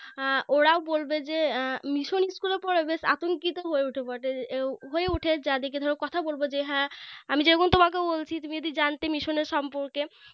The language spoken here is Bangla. আ ওরাও বলবে যে উম Mission School এ পড়ে বেশ হয়ে উঠে যারদিকে ধরো কথা বলবো যে হ্যাঁ আমি যেরকম তোমাকে বলছি তুমি যদি জানতে Mission এর সম্পর্কে